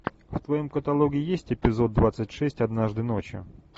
в твоем каталоге есть эпизод двадцать шесть однажды ночью